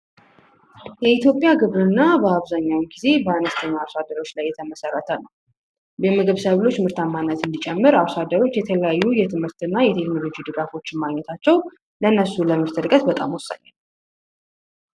የኢትዮጵያ ግብርና በአብዛኛው ጊዜ በአነስተኛ አርሶአደሮች የተመሰረተ ሲሆን የምግብ ሰብሎች ምርታማነት እንዲጨምር እርሶ አደሮች የተለያየ የትምህርትና የቴክኖሎጂ ድጋፎች ማግኘታቸው ለእነሱ የድጋፍ እውቀት በጣም ወሳኝ ነው።